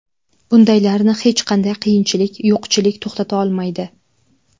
Bundaylarni hech qanday qiyinchilik, yo‘qchilik to‘xtata olmaydi.